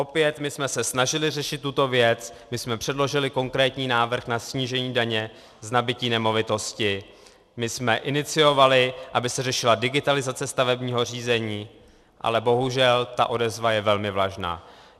Opět my jsme se snažili řešit tuto věc, my jsme předložili konkrétní návrh na snížení daně z nabytí nemovitosti, my jsme iniciovali, aby se řešila digitalizace stavebního řízení, ale bohužel ta odezva je velmi vlažná.